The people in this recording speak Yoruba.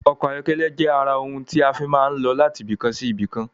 Ọkọ̀ ayọ́kẹ́lẹ́ jẹ ara ohun ti a fii máa ń lọ láti ibìkan sí ibìkan